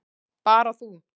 Bara þú.